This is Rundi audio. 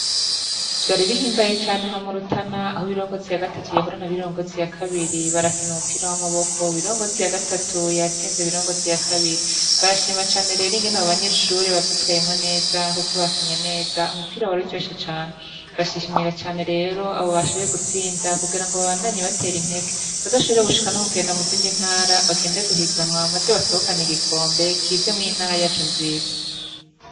Vyari bihimbaye cane aha mu Rutana aho Birongozi ya gatatu yahura na Birongozi ya kabiri barakina umupira w'amaboko, Birongozi ya gatatu yatsinze Birongozi ya kabiri, barashima cane rero ingene abo banyeshure bavyitwayemwo neza kuko bakinye neza umupira waruryoshe cane, bashimira cane rero abo bashoboye gutsinda kugira ngo babandanye batera intege bazoshobore gushika no kugenda mu zindi ntara, bagende guhiganwa maze batahukana igikombe kize mw'iyi ntara yacu nziza.